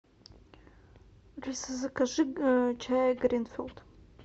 алиса закажи чай гринфилд